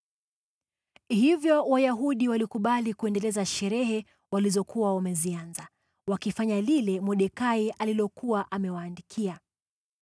Hivyo Wayahudi walikubali kuendeleza sherehe walizokuwa wamezianza, wakifanya lile Mordekai alilokuwa amewaandikia.